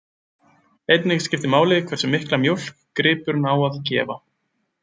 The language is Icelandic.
Einnig skiptir máli hversu mikla mjólk gripurinn á að gefa.